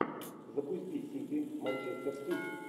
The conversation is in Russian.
запусти сити манчестер сити